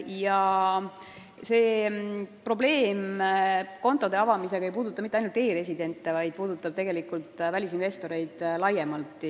Ja see probleem kontode avamisega ei puuduta mitte ainult e-residente, vaid välisinvestoreid laiemalt.